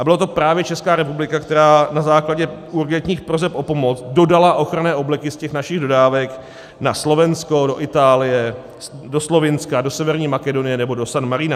A byla to právě Česká republika, která na základě urgentních proseb o pomoc dodala ochranné obleky z těch našich dodávek na Slovensko, do Itálie, do Slovinska, do Severní Makedonie nebo do San Marina.